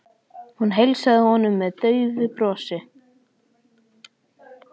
Hún heilsaði honum með daufu brosi.